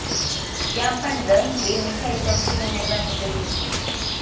ત્યાં પણ દહીં બે મીઠાઈ ચમચી ઉમેરવાની જરૂર છે